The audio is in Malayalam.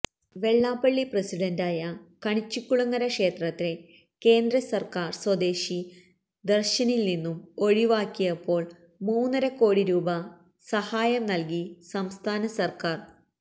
വെള്ളാപ്പള്ളി പ്രസിഡൻ്റായ കണിച്ചുകുളങ്ങര ക്ഷേത്രത്തെ കേന്ദസർക്കാർ സ്വദേശി ദര്ശനില്നിന്നും ഒഴിവാക്കിയപ്പോൾ മൂന്നര കോടി രൂപ സഹായം നൽകി സംസ്ഥാന സർക്കാർ